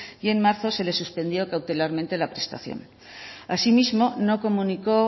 y en marzo se le suspendió cautelarmente la prestación asimismo no comunicó